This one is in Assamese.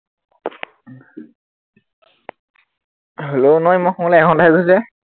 hello নাই মই শুৱলে এঘন্টা হে হৈছে